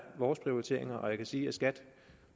vores prioriteringer og jeg kan sige at skat